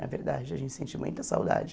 Na verdade, a gente sente muita saudade.